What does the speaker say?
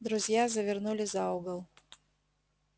друзья завернули за угол